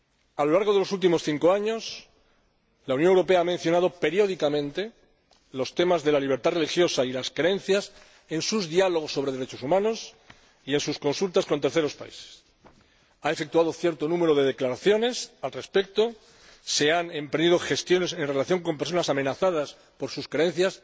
A lo largo de los últimos cinco años, la Unión Europea ha mencionado periódicamente los temas de la libertad religiosa y las creencias en sus diálogos sobre derechos humanos y en sus consultas con terceros países, ha efectuado cierto número de declaraciones al respecto y se han emprendido gestiones en relación con personas amenazadas por sus creencias.